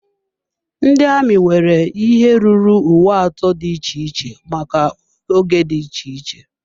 Ndị amị nwere ihe ruru uwe atọ dị iche iche maka oge dị iche iche.